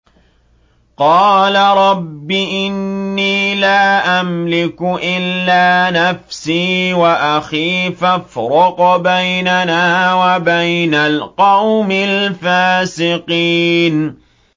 قَالَ رَبِّ إِنِّي لَا أَمْلِكُ إِلَّا نَفْسِي وَأَخِي ۖ فَافْرُقْ بَيْنَنَا وَبَيْنَ الْقَوْمِ الْفَاسِقِينَ